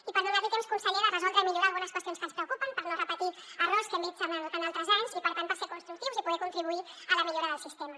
i per donar li temps conseller de resoldre i millorar algunes qüestions que ens preocupen per no repetir errors que hem vist en altres anys i per tant per ser constructius i poder contribuir a la millora del sistema